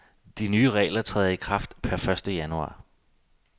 De nye regler træder i kraft per første januar.